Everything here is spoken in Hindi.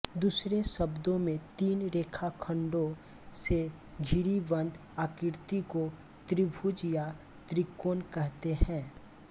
दूसरे शब्दों में तीन रेखाखण्डो से घिरी बंद आकृति को त्रिभुज या त्रिकोण कहते हैं